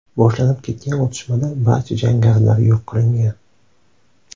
boshlanib ketgan otishmada barcha jangarilar yo‘q qilingan.